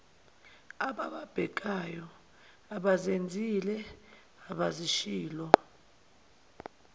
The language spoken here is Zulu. abababhekayo abazenzile abazishilo